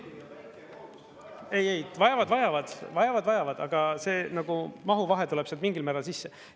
Ei, vajavad, vajavad, vajavad, vajavad, aga see nagu mahu vahe tuleb sealt mingil määral sisse.